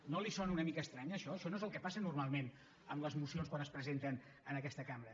no li sona una mica estrany això això no és el que passa normalment amb les mocions quan es presenten en aquesta cambra